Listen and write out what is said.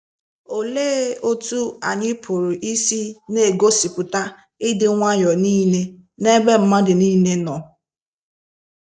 Olee otú anyị pụrụ isi n'egosipụta “ ịdị nwayọọ nile n’ebe mmadụ nile nọ ”?